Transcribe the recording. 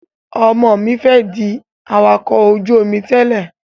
Ọmọ mi fẹ́ di awakọ̀ ojú-omi tẹ́lè